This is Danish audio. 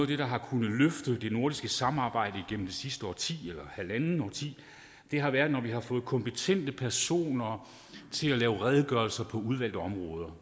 det der har kunnet løfte det nordiske samarbejde igennem det sidste årti eller halvandet årti har været når vi har fået kompetente personer til at lave redegørelser på udvalgte områder